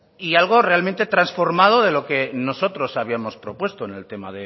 y algo realmente trasformado de lo que nosotros habíamos propuesto en el tema